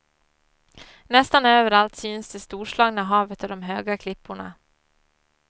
Nästan överallt syns det storslagna havet och de höga klipporna.